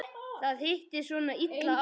Það hittist svona illa á.